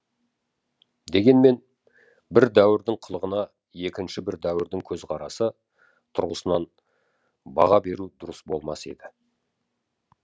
дегенмен бір дәуірдің қылығына екінші бір дәуірдің көзқарасы тұрғысынан баға беру дұрыс болмас еді